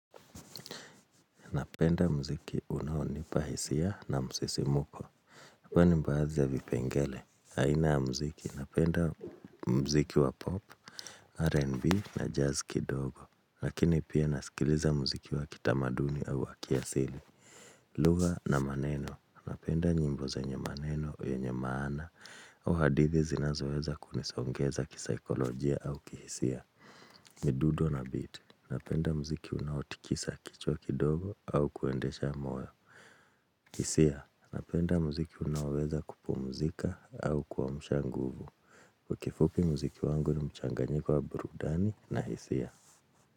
Napenda mziki unaonipa hisia na msisimuko. Kwani mbaazi ya vipengele aina ya mziki Napenda mziki wa pop, RNB na jazz kidogo. Lakini pia nasikiliza mziki wa kitamaduni au wa kiasili. Lugha na maneno Napenda nyimbo zenye maneno yenye maana au hadithi zinazoweza kunisongeza kisikolojia au kihisia. Midudo na beat. Napenda mziki unaotikisa kichwa kidogo au kuendesha moyo. Hisia, napenda muziki unaoweza kupumzika au kuamsha nguvu. Kifupi muziki wangu ni mchanganyiko wa burudani na hisia.